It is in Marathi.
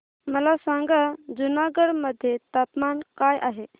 मला सांगा जुनागढ मध्ये तापमान काय आहे